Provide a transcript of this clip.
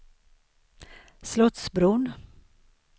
Slottsbron